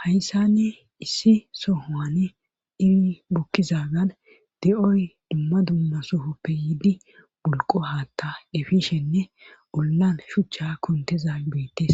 Hayssanni issi sohoane iri bukkizagan de7oy dumma dumma sofoppe yiidi bulqo haatta efishenne ollan shuchcha kuntezabeettes